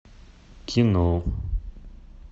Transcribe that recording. кино